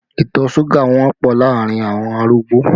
Ìtọ̀ suga wọ́pọ̀ láàrin awọn arúgbó